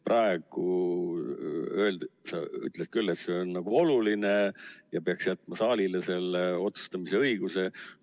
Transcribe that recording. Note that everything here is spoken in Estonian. Praegu ütlesite küll, et see on nagu oluline teema ja peaks jätma saalile selle otsustamise õiguse.